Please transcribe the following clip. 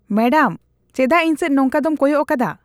Madam, ᱥᱮᱪᱟᱜ ᱤᱧ ᱥᱮᱡ ᱱᱚᱝᱠᱟ ᱫᱚᱢ ᱠᱚᱭᱚᱜ ᱟᱠᱟᱫᱟ ?